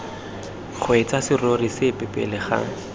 kgweetsa serori sepe pele ga